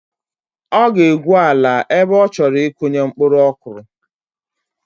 Ọ ga-egwu ala ebe ọ chọrọ ịkụnye mkpuru kọrụ